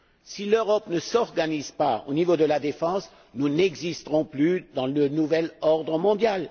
Si l'Europe ne s'organise pas au niveau de la défense, nous n'existerons plus dans le nouvel ordre mondial.